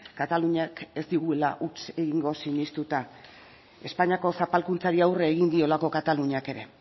kataluniak ez digula huts egingo sinestuta espainiako zapalkuntzari aurre egin diolako kataluniak ere